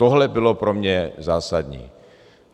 Tohle bylo pro mě zásadní.